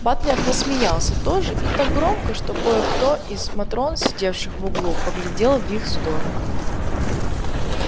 батлер рассмеялся тоже и так громко что кое-кто из матрон сидевших в углу поглядел в их сторону